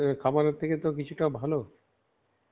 খাবার-এর থেকে তো কিছুটা ভালো .